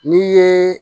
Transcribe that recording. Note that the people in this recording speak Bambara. N'i ye